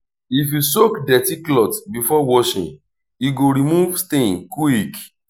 if you soak dirty cloth before washing e go remove stain quick.